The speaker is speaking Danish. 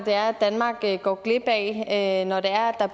danmark går glip af når der